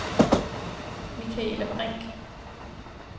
Michaela Brinch